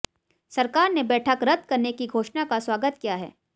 सरकार ने बैठक रद करने की घोषणा का स्वागत किया है